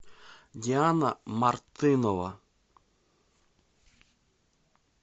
диана мартынова